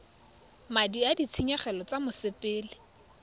madi a ditshenyegelo tsa mosepele